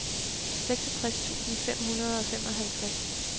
seksogtres tusind fem hundrede og femoghalvtreds